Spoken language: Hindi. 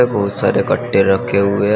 बहुत सारे कट्टे रखे हुए है।